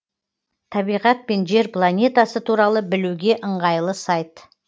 табиғат пен жер планетасы туралы білуге ыңғайлы сайт